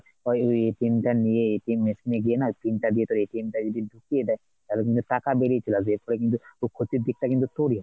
তোর ওই টা নিয়ে machine এ গিয়ে না pin টা দিয়ে তোর টা যদি ঢুকিয়ে দেয় তাহলে কিন্তু টাকা বেরিয়ে চলে আসবে এরপরে কিন্তু ক্ষতির দিক টা কিন্তু তোরই,